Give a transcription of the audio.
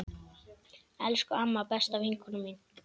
Elsku amma, besta vinkona mín.